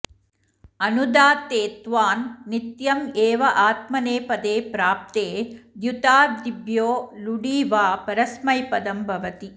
अनुदात्तेत्त्वान् नित्यम् एव आत्मनेपदे प्राप्ते द्युतादिभ्यो लुङि वा परस्मैपदं भवति